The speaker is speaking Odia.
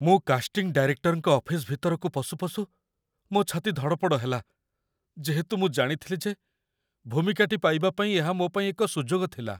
ମୁଁ କାଷ୍ଟିଂ ଡାଇରେକ୍ଟରଙ୍କ ଅଫିସ ଭିତରକୁ ପଶୁପଶୁ ମୋ ଛାତି ଧଡ଼ପଡ଼ ହେଲା, ଯେହେତୁ ମୁଁ ଜାଣିଥିଲି ଯେ ଭୂମିକାଟି ପାଇବା ପାଇଁ ଏହା ମୋ ପାଇଁ ଏକ ସୁଯୋଗ ଥିଲା।